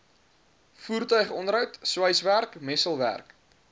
voertuigonderhoud sweiswerk messelwerk